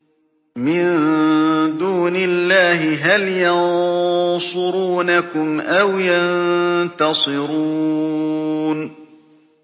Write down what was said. مِن دُونِ اللَّهِ هَلْ يَنصُرُونَكُمْ أَوْ يَنتَصِرُونَ